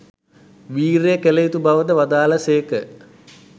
වීර්යය කළ යුතු බවද වදාළ සේක.